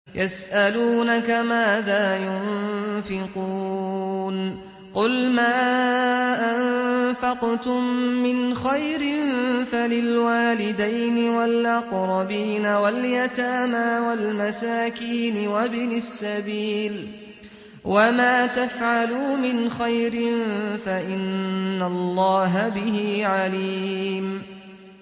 يَسْأَلُونَكَ مَاذَا يُنفِقُونَ ۖ قُلْ مَا أَنفَقْتُم مِّنْ خَيْرٍ فَلِلْوَالِدَيْنِ وَالْأَقْرَبِينَ وَالْيَتَامَىٰ وَالْمَسَاكِينِ وَابْنِ السَّبِيلِ ۗ وَمَا تَفْعَلُوا مِنْ خَيْرٍ فَإِنَّ اللَّهَ بِهِ عَلِيمٌ